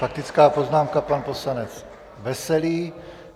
Faktická poznámka, pan poslanec Veselý.